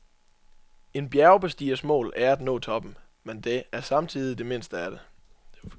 En bjergbestigers mål er at nå toppen, men det er samtidigt det mindste af det.